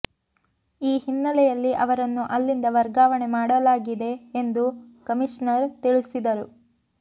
ಈ ಹಿನ್ನೆಲೆಯಲ್ಲಿ ಅವರನ್ನು ಅಲ್ಲಿಂದ ವರ್ಗಾವಣೆ ಮಾಡಲಾಗಿದೆ ಎಂದು ಕಮಿಷನರ್ ತಿಳಿಸಿದರು